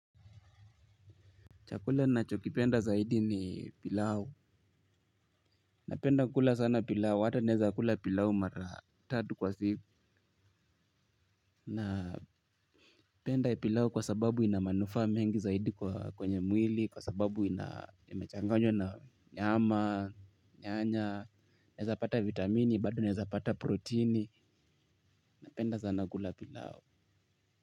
Chakula ninachokipenda zaidi ni pilau. Napenda kula sana pilau. Hata naezakula pilau mara tatu kwa siku. Napenda pilau kwa sababu ina manufaa mengi zaidi kwa kwenye mwili, kwa sababu imechanganywa na nyama, nyanya, naezapata vitamini, bado naezapata proteini. Napenda sana kula pilau.